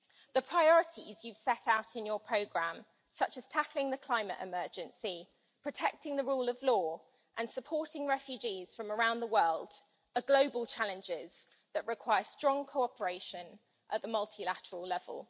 The priorities you've set out in your programme, such as tackling the climate emergency, protecting the rule of law and supporting refugees from around the world, are global challenges that require strong cooperation at the multilateral level.